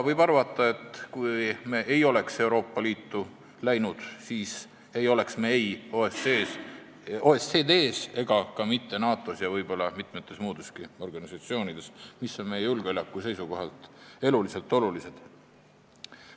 Võib arvata, et kui me ei oleks Euroopa Liitu läinud, siis poleks me ei OECD-s ega ka mitte NATO-s ja ehk mitmetes muudeski organisatsioonides, mis on meie julgeoleku seisukohalt eluliselt olulised.